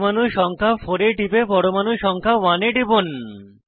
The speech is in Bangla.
পরমাণু সংখ্যা 4 এ টিপে পরমাণু সংখ্যা 1 এ টিপুন